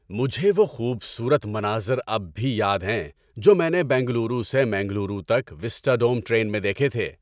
مجھے وہ خوبصورت مناظر اب بھی یاد ہیں جو میں نے بنگلورو سے منگلورو تک وِسٹاڈوم ٹرین میں دیکھے تھے۔